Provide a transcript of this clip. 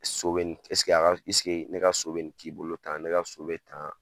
So bɛ nin esik'a ka esigi ne ka so bɛ nin k'i bolo tan ne ka so bɛ tan.